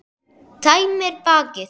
Tæmir bakið.